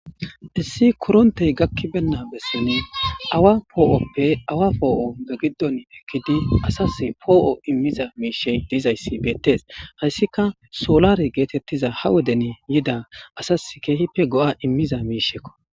issi korontey gakkibenna bessene awa poo7oppe awa poo7o pe giddon ekkidi asas poo7o immiza miishe dizayssi beettees hayssika solare geetettiza ha woden yida asas keehipe go7a immiza miishekko